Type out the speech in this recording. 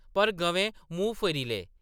पर गवें मूंह् फेरी ले।